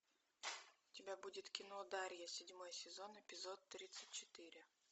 у тебя будет кино дарья седьмой сезон эпизод тридцать четыре